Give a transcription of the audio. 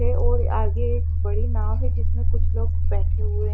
के और आगे एक बड़ी नाव है जिसमे कुछ लोग बेठे हुए है।